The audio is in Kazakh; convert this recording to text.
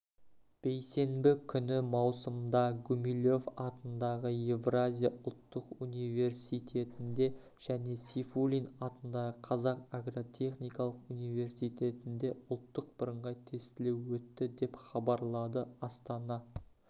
бейсенбі күні маусымда гумилев атындағы еуразия ұлттық университетінде және сейфуллин атындағы қазақ агротехникалық университетінде ұлттық бірыңғай тестілеу өтті деп хабарлады астана